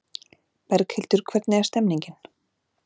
Berghildur hvernig er stemningin?